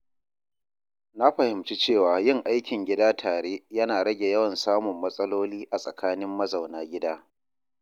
Na fahimci cewa yin aikin gida tare yana rage yawan samun matsaloli a tsakanin mazauna gidan.